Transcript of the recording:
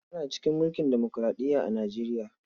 Ana cikin mulkin demokuraɗiya a Nijeriya.